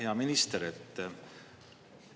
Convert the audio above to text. Hea minister!